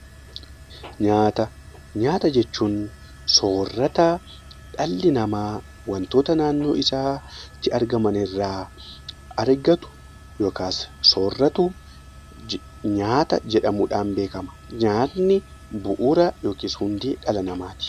Nyaata jechuun soorata dhalli namaa wantoota naannoo isaatti argaman irraa argatu yookaan sooratu yoo ta'u, nyaanni bu'uura dhala namaati